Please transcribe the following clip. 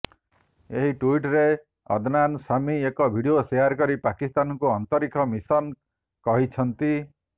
ଏହି ଟ୍ବିଟରେ ଅଦନାନ୍ ସାମୀ ଏକ ଭିଡିଓ ସେୟାର କରି ପାକିସ୍ତାନକୁ ଅନ୍ତରିକ୍ଷ ମିଶନ କହିଛନ୍ତି